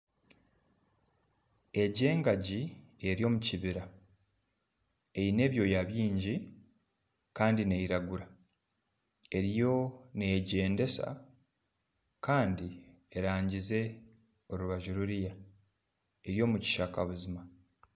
Egi engaging eri omu kibira eine ebyoya bingi Kandi neyiragura eriyo neyegyendesa kandi erangize orubaju ruriya eri omukishaka buzima